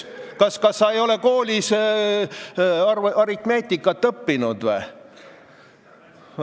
Kas sa koolis aritmeetikat ei õppinud või?